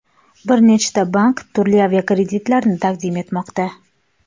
Bir nechta bank turli avtokreditlarni taqdim etmoqda.